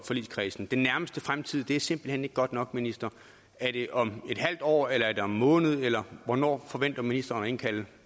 forligskredsen den nærmeste fremtid er simpelt hen ikke godt nok minister er det om et halvt år eller er det om en måned eller hvornår forventer ministeren at indkalde